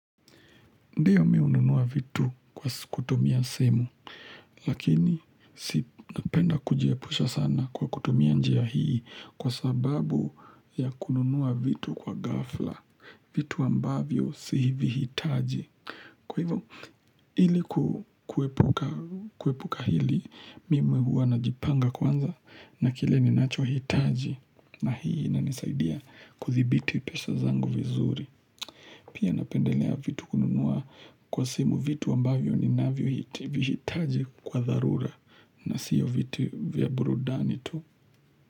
Ndiyo mimi hununua vitu kwa kutumia simu, lakini si napenda kujiepusha sana kwa kutumia njia hii kwa sababu ya kununua vitu kwa ghafla, vitu ambavyo sivihitaji. Kwa hivyo, ili kuepuka hili, mimi huwa najipanga kwanza na kile ni nachohitaji na hii inanisaidia kudhibiti pesa zangu vizuri. Pia napendelea vitu kununua kwa simu vitu ambavyo ninavyovihitaji kwa dharura na sio vitu vya burudani tu.